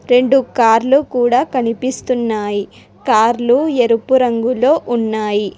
రెండు కార్లు కుడా కనిపిస్తున్నాయి కార్లు ఎరుపు రంగులో ఉన్నాయి.